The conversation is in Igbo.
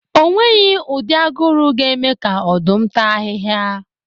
O nweghi ụdị aguru ga-eme ka Ọ̀dụ́m tàa ahị́hia